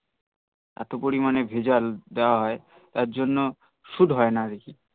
এতো পরিমানে ভেজাল দেওয়া হই তার জন্য সুট হয় না আর